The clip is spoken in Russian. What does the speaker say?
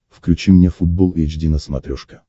включи мне футбол эйч ди на смотрешке